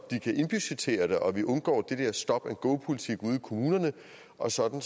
de kan indbudgettere det og vi undgår den der stop and go politik ude i kommunerne og sådan